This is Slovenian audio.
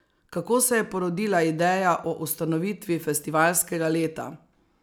Kako se je porodila ideja o ustanovitvi festivalskega leta?